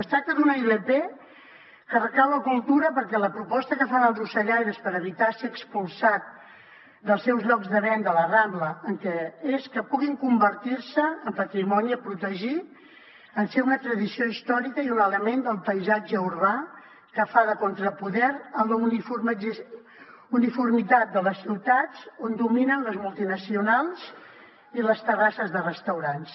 es tracta d’una ilp que recau a cultura perquè la proposta que fan els ocellaires per evitar ser expulsats dels seus llocs de venda a la rambla és que puguin convertir se en patrimoni a protegir en ser una tradició històrica i un element del paisatge urbà que fa de contrapoder a la uniformitat de les ciutats on dominen les multinacionals i les terrasses de restaurants